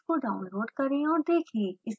कृपया इसको डाउनलोड करें और देखें